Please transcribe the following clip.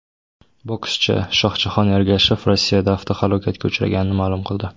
Bokschi Shohjahon Ergashev Rossiyada avtohalokatga uchraganini ma’lum qildi .